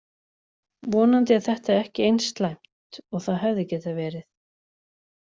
Vonandi er þetta ekki eins slæmt og það hefði geta verið.